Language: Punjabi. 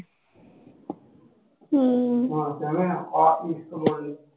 ਹਮ